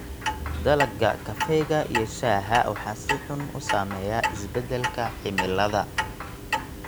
Dalagga kafeega iyo shaaha waxaa si xun u saameeya isbeddelka cimilada.